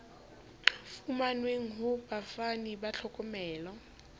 fumanweng ho bafani ba tlhokomelo